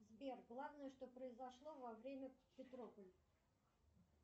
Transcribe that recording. сбер главное что произошло во время